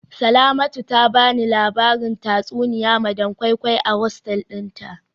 Salamatu ta bani labarin tatsuniya madam koi koi a hosteli dinta